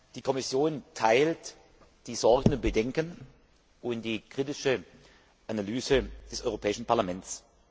Die Kommission teilt die Sorgen und Bedenken und die kritische Analyse des Europäischen Parlaments.